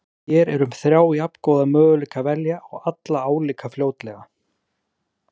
Hér er um þrjá jafngóða möguleika að velja og alla álíka fljótlega.